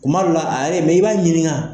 Kuma dɔ la, a yɛrɛ ye, mɛ i b'a ɲininga.